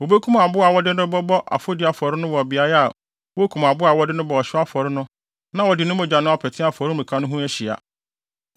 Wobekum aboa a wɔde no rebɔ afɔdi afɔre no wɔ beae a wokum aboa a wɔde no bɔ ɔhyew afɔre no na wɔde ne mogya no apete afɔremuka no ho ahyia.